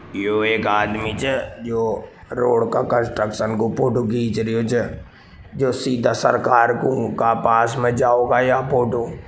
यो एक आदमी छे जो रोड को कंस्ट्रक्शन को फोटो खीच रहो छे जो सीधा सरकार कु का के पास में जाओगो या फोटो --